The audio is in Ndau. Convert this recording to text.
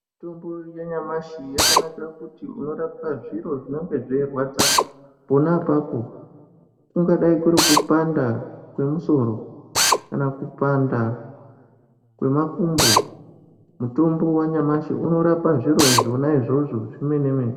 Mitombo yanyamashi yakanakira kuti unoraowa zviro zvinenge zveirwadza pona apapo, kungadai kurikupanda kwemusoro kana kupanda kwemakumbo mutombo wanyamashi unorapa zviro zvona izvozvo zvemene mene.